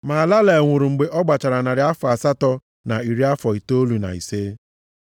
Mahalalel nwụrụ mgbe ọ gbara narị afọ asatọ na iri afọ itoolu na ise.